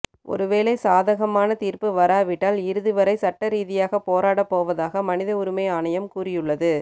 ஒருவேளை சாதகமான தீர்ப்பு வராவிட்டால் இறுதி வரை சட்ட ரீதியாகப் போராடப் போவதாக மனித உரிமை ஆணையம் கூறியுள்ளது